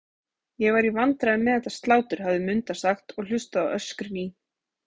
Ég var í vandræðum með þetta slátur, hafði Munda sagt og hlustað á öskrin í